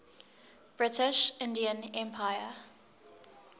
british indian empire